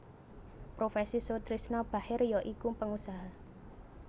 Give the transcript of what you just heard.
Profesi Soetrisno Bachir ya iku pengusaha